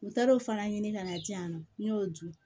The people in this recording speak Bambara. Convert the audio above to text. U taar'o fana ɲini ka na di yan nɔ n y'o dun